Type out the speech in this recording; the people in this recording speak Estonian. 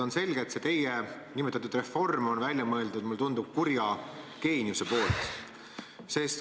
On selge, et see teie reform on välja mõeldud, mulle tundub, kurja geeniuse poolt.